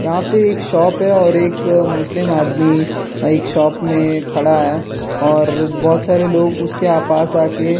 यहां पे एक शॉप है और एक मुस्लिम आदमी एक शॉप में खड़ा है और बहुत सारे लोग उसके पास आकर --